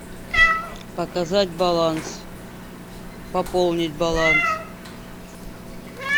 показать баланс пополнить баланс